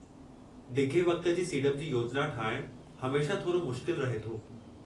डिघे वक़्त जी सीड़प जी योजना ठाहिणु हमेशह थोरो मुश्किल रहे थो।